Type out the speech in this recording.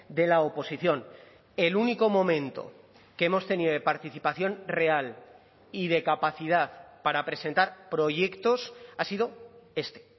de la oposición el único momento que hemos tenido de participación real y de capacidad para presentar proyectos ha sido este